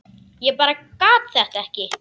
Ég bara gat þetta ekki.